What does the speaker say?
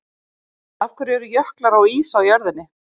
Af hverju eru jöklar og ís á jörðinni?